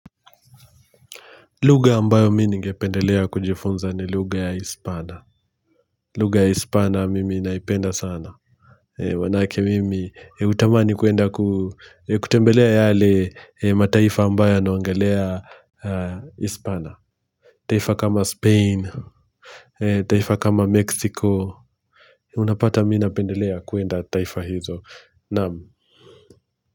Lugha ambayo mi ningependelea kujifunza ni lugha ya Hispana. Lugha ya Hispana mimi ninaipenda sana. Maanake mimi hutamani kuenda ku kutembelea yale mataifa ambayo yanaongelea Hispana. Taifa kama Spain, taifa kama Mexico. Unapata mimi napendelea kuenda taifa hizo. Namu.